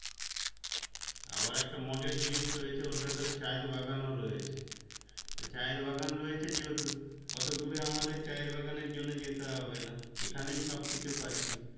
আবার একটা মজার জিনিস রয়েছে ওর ভেতরে চা এর বাগান ও রয়েছে চা এর বাগান রয়েছে যেহেতু অটো দূরে আমাদের চা এর বাগানের জন্যে যেতে হবে না এখানেই সব কিছু পাচ্ছি